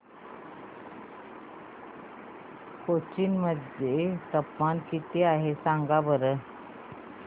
कोचीन मध्ये तापमान किती आहे सांगा बरं